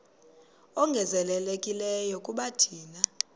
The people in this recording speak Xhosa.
ongezelelekileyo kuba thina